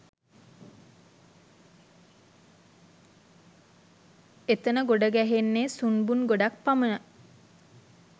එතන ගොඩගැහෙන්නේ සුන්බුන් ගොඩක් පමණයි.